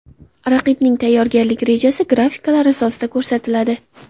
Raqibning tayyorgarlik rejasi grafikalar asosida ko‘rsatiladi.